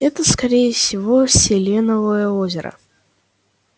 это скорее всего селеновое озеро